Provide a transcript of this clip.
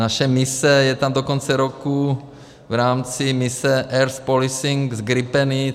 Naše mise je tam do konce roku v rámci mise Air Policing s gripeny.